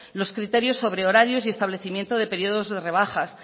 los criterios sobre horarios y establecimientos de periodos de rebajas